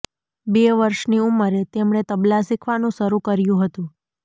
બે વર્ષની ઉંમરે તેમણે તબલાં શીખવાનું શરૂ કર્યું હતું